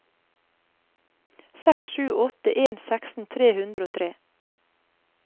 seks sju åtte en seksten tre hundre og tre